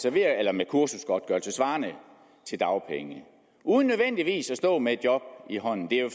med kursusgodtgørelse svarende til dagpenge uden nødvendigvis at stå med et job i hånden det er jo